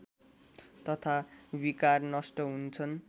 तथा विकार नष्ट हुन्छन्